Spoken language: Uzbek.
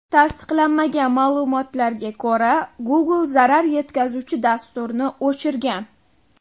Tasdiqlanmagan ma’lumotlarga ko‘ra, Google zarar yetkazuvchi dasturni o‘chirgan.